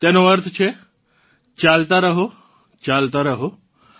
તેનો અર્થ છે ચાલતાં રહો ચાલતાં રહો